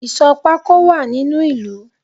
Ìsò pako wá nínu ìlú